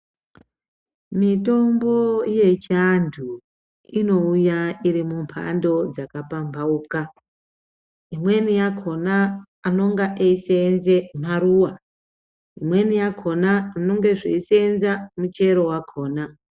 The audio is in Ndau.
Mitombo yechiantu inouya iri mumhando dzakapamhauka, imweni yakona anonga eisenza maruwa ,imweni yakona zvinenge zveisenza muchero wakona.